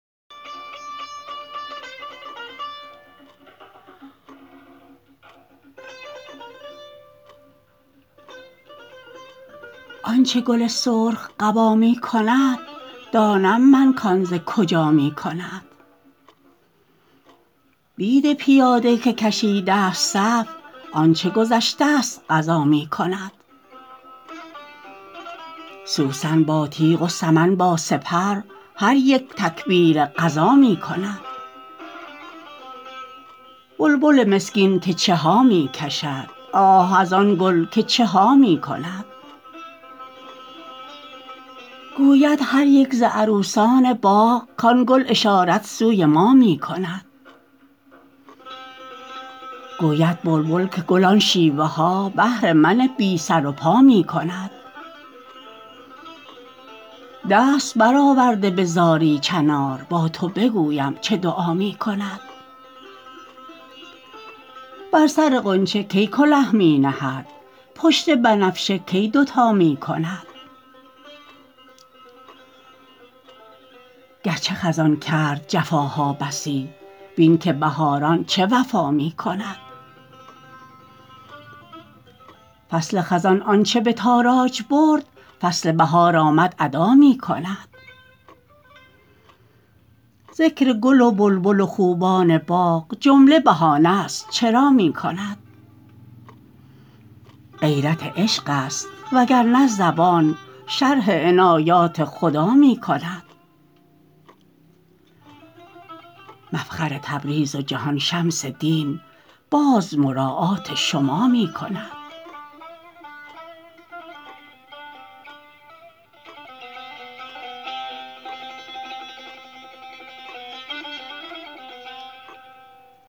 آنچ گل سرخ قبا می کند دانم من کان ز کجا می کند بید پیاده که کشیدست صف آنچ گذشتست قضا می کند سوسن با تیغ و سمن با سپر هر یک تکبیر غزا می کند بلبل مسکین که چه ها می کشد آه از آن گل که چه ها می کند گوید هر یک ز عروسان باغ کان گل اشارت سوی ما می کند گوید بلبل که گل آن شیوه ها بهر من بی سر و پا می کند دست برآورده به زاری چنار با تو بگویم چه دعا می کند بر سر غنچه کی کله می نهد پشت بنفشه کی دوتا می کند گرچه خزان کرد جفاها بسی بین که بهاران چه وفا می کند فصل خزان آنچ به تاراج برد فصل بهار آمد ادا می کند ذکر گل و بلبل و خوبان باغ جمله بهانه ست چرا می کند غیرت عشق است وگر نه زبان شرح عنایات خدا می کند مفخر تبریز و جهان شمس دین باز مراعات شما می کند